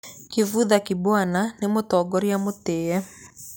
Kivutha Kibwana nĩ mũtongoria mũtĩĩ.